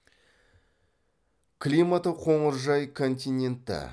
климаты қоңыржай континентті